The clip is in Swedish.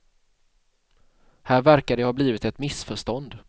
Här verkar det ha blivit ett missförstånd.